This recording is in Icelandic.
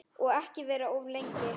Og ekki vera of lengi.